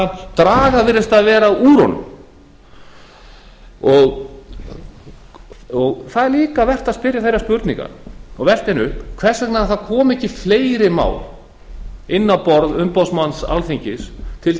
málshraðann draga virðist vera úr honum það er líka vert að spyrja þeirrar spurningar og velta henni upp hvers vegna koma ekki fleiri mál inn á borð umboðsmanns alþingis til